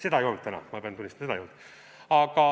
Seda ei olnud täna, ma pean tunnistama, seda ei olnud.